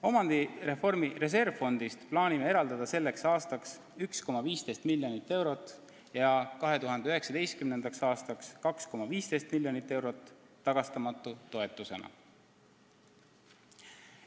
Omandireformi reservfondist plaanime eraldada selleks aastaks 1,15 miljoni eurot ja 2019. aastaks 2,15 miljonit eurot tagastamatu toetusena.